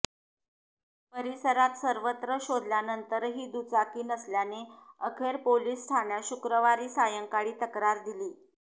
परिसरात सर्वत्र शोधल्यानंतरही दुचाकी नसल्याने अखेर पोलिस ठाण्यात शुक्रवारी सायंकाळी तक्रार दिली